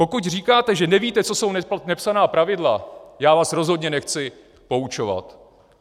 Pokud říkáte, že nevíte, co jsou nepsaná pravidla, já vás rozhodně nechci poučovat.